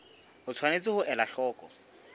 o tshwanetse ho ela hloko